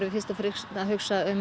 fyrst og fremst að hugsa um